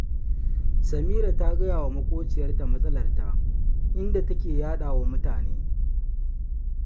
Samira tana gaya wa maƙociyarta matsalarta, inda take yaɗa wa mutane